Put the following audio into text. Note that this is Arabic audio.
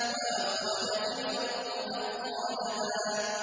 وَأَخْرَجَتِ الْأَرْضُ أَثْقَالَهَا